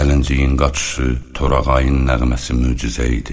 Gəlinciyin qaçışı, torağayın nəğməsi möcüzə idi.